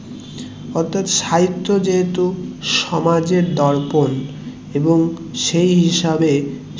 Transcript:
অর্থাৎ সাহিত্য যেহেতু সমাজের দর্পন এবং সেই হিসাবে